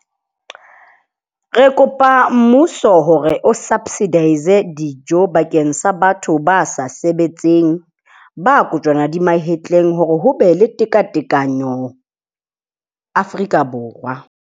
Re kopa mmuso hore o subsidize-e dijo bakeng sa batho ba sa sebetseng, ba kojwana di mahetleng hore hobe le tekatekano Afrika Borwa.